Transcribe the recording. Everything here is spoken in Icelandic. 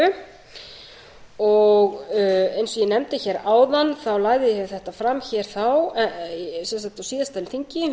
eins og ég nefndi áðan lagði ég þetta fram þá sem sagt á síðasta þingi